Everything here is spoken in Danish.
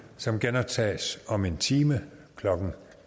som genoptages om en time klokken